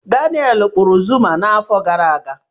Daneelụ kpụrụ Zuma n'afọ gara aga.